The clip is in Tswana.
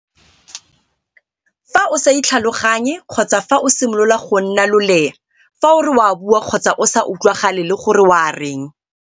Fa o sa itlhaloganye kgotsa fa o simolola go nna loleya fa o re o a bua kgotsa o sa utlwagale le gore o a reng.